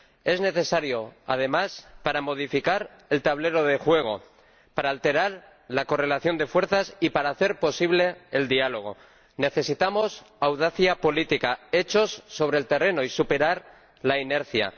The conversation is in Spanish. Es necesario, además, para modificar el tablero de juego, para alterar la correlación de fuerzas y para hacer posible el diálogo. Necesitamos audacia política, hechos sobre el terreno y superar la inercia.